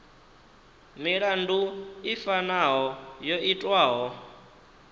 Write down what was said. milandu i fanaho yo itwaho